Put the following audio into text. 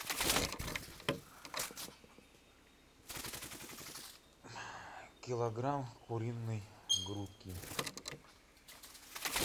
килограмм куриной грудки